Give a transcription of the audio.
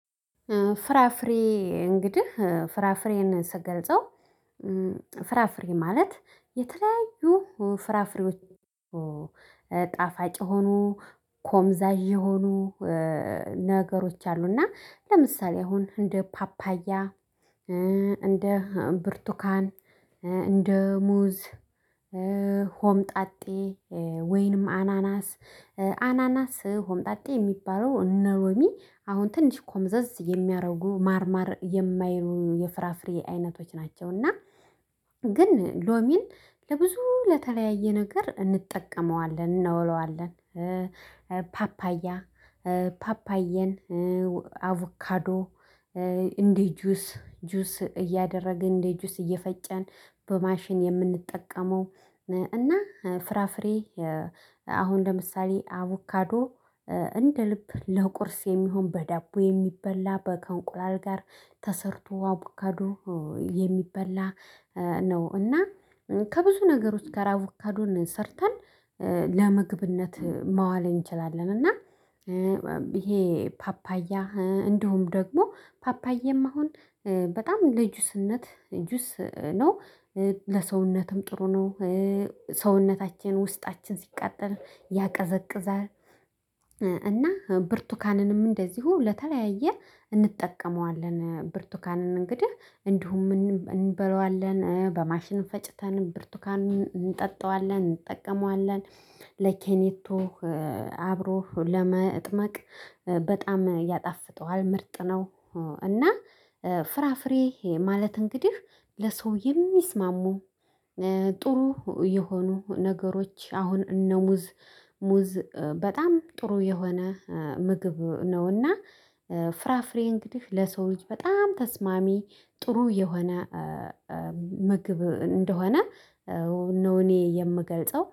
ፍራፍሬ እንግዲህ ፍራፍሬን ስገልጸው ፍራፍሬ ማለት የተለያዩ ፍራፍሬዎች ጣፋጭ የሆኑ ኮምዛዥ የሆኑ ነገሮች አሉ። እና ለምሳሌ አሁን እንደ ፓፓያ እንደ ብርቱካን እንደ ሙዝ ሆምጣጤ ወይንም አናናስ አናናስ ሆምጣጤ የሚባለው እነ ሎሚ አሁን ትንሽ ጎምዘዝ የሚያደርጉ ማርማር የማይሉ የፍራፍሬ አይነቶች ናቸውና። ግን ሎሚን ለብዙ ለተለያየ ነገር እንጠቀመዋለን እናውለዋለን። ፓፓያ ፓፓየን አቮካዶ እንዴ ጁስ ጁስ እያደረግን እንዴ ጁስ እየፈጨን በማሽን የምንጠቀመው። እና ፍራፍሬ አሁን ለምሳሌ አቡካዶ እንደ ልብ ለቁርስ የሚሆን በዳቦ የሚበላ ከእንቁላል ጋር ተሰርቶ አቡካዱ የሚበላ ነው። እና ከብዙ ነገር ውስጥ ጋር አቦካዶን ሰርተን ለምግብነት ማዋል እንችላለን። እና ይሄ ፓፓያ እንደውም ደግሞ ፓፓያም አሁን በጣም ለጁስነት ጁስ ነው። ለሰውነትም ጥሩ ነው። ሰውነታችን ውስጣችን ሲቃጠል ያቀዘቅዛል። እና ብርቱካንንም እንደዚሁ ለተለያየ እንጠቀመዋለን ብርቱካንን እንግዲህ እንዲሁም እንበላዋለን በማሽን ፈጭተን ብርቱካንን እንጠጣዋለን እንጠቀመዋለን። ለኬኔቶ አብሮህ ለመጥመቅ በጣም ያጣፍጠዋል ምርጥ ነው። እና ፍራፍሬ ይሄ ማለት እንግዲህ ለሰው የሚስማሙ ጥሩ የሆኑ ነገሮች አሁን እነ ሙዝ ሙዝ በጣም ጥሩ የሆነ ምግብ ነውና። ፍራፍሬ እንግዲህ ለሰው ልጅ በጣም ተስማሚ ጥሩ የሆነ ምግብ እንደሆነ ነው። እኔ የምገልጸው